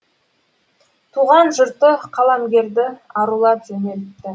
туған жұрты қаламгерді арулап жөнелтті